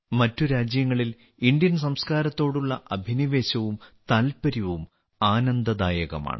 മറ്റുരാജ്യങ്ങളിൽ ഇന്ത്യൻസംസ്കാരത്തോടുള്ള അഭിനിവേശവും താൽപര്യവും ആനന്ദദായകമാണ്